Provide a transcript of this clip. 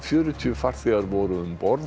fjörutíu farþegar voru um borð